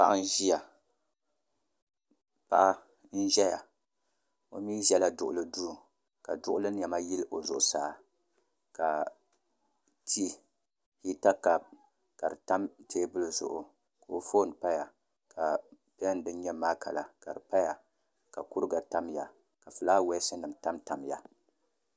Paɣa n ʒɛya o mii ʒɛla duɣuli duu ka duɣuli niɛma yili o zuɣusaa ka tii hita kaap ka di tam teebuli zuɣu ka o foon paya ka pɛn din nyɛ maaka la ka di paya ka kuriga tamya ka fulaawaasi nim tamtamya